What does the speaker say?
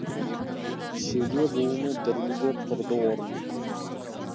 шеге буыны дірілдеп тұрды орнынан